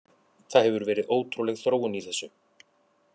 Það hefur verið ótrúleg þróun í þessu.